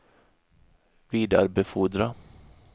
vidarebefordra